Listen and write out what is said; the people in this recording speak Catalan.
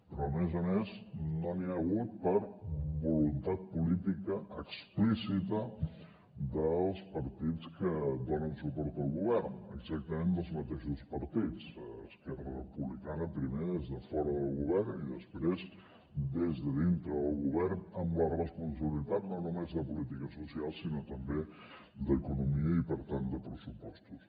però a més a més no n’hi ha hagut per voluntat política explícita dels partits que donen suport al govern exactament dels mateixos partits esquerra republicana primer des de fora del govern i després des de dintre del govern amb la responsabilitat no només de polítiques socials sinó també d’economia i per tant de pressupostos